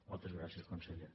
montes gràcies conseller